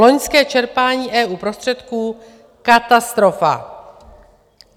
Loňské čerpání EU prostředků katastrofa!